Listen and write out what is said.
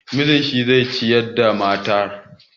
Miji shi zai ciyar da matarsa.